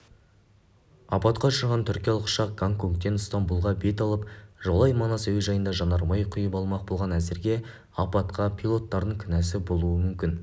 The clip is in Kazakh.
апатқа ұшыраған түркиялық ұшақ гонконгтен стамбұлға бет алып жолай манас әуежайында жанармай құйып алмақ болған әзірге апатқа пилоттардың кінәсі болуы мүмкін